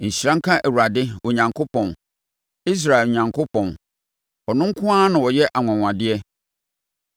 Nhyira nka Awurade Onyankopɔn, Israel Onyankopɔn! Ɔno nko ara na ɔyɛ anwanwadeɛ.